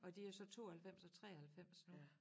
Og de jo så 92 og 93 nu